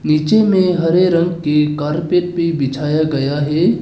नीचे में हरे रंग के कारपेट भी बिछाया गया है।